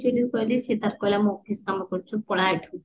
କହିଲି ସିଏ ତାର କହିଲା ମୁଁ office କାମ ଅକରୁଚି ପଳା ଏଠୁ